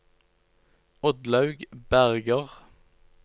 Oddlaug Berger